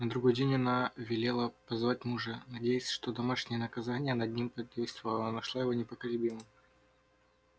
на другой день она велела позвать мужа надеясь что домашнее наказание над ним подействовало но нашла его непоколебимым